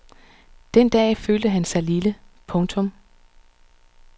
Den dag følte han sig lille. punktum